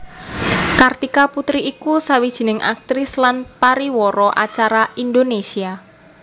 Kartika Putri iku sawijining aktris lan pariwara acara Indonésia